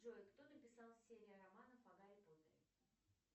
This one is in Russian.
джой кто написал серию романов о гарри поттере